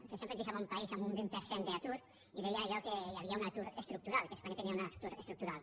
que sempre ens deixava un país amb un vint per cent d’atur i deia allò que hi havia un atur estructural que espanya tenia un atur estructural